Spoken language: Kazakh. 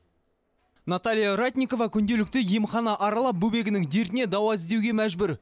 наталья ратникова күнделікті емхана аралап бөбегінің дертіне дауа іздеуге мәжбүр